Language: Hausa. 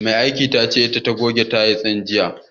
Mai aikin tace ita ta goge tayil din jiya.